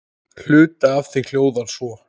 Hluti af því hljóðar svo